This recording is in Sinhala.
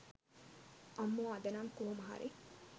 අම්මෝ අද නම් කොහොම හරි